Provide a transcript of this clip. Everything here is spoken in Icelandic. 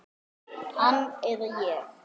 Hann eða ég.